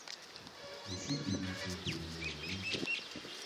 включи фильм с андреем мироновым